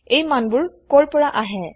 এই মানবোৰ কৰ পৰা আহে